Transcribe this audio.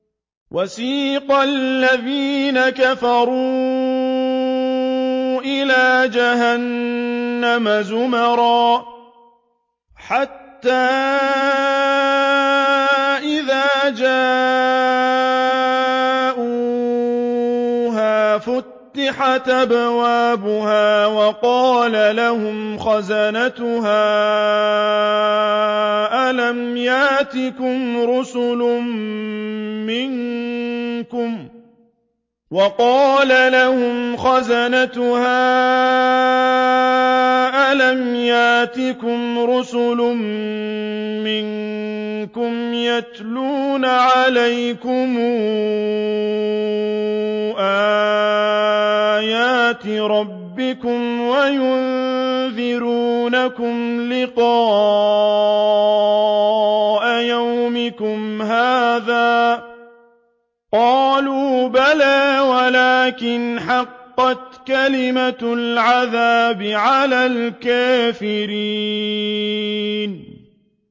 وَسِيقَ الَّذِينَ كَفَرُوا إِلَىٰ جَهَنَّمَ زُمَرًا ۖ حَتَّىٰ إِذَا جَاءُوهَا فُتِحَتْ أَبْوَابُهَا وَقَالَ لَهُمْ خَزَنَتُهَا أَلَمْ يَأْتِكُمْ رُسُلٌ مِّنكُمْ يَتْلُونَ عَلَيْكُمْ آيَاتِ رَبِّكُمْ وَيُنذِرُونَكُمْ لِقَاءَ يَوْمِكُمْ هَٰذَا ۚ قَالُوا بَلَىٰ وَلَٰكِنْ حَقَّتْ كَلِمَةُ الْعَذَابِ عَلَى الْكَافِرِينَ